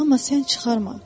Amma sən çıxarma.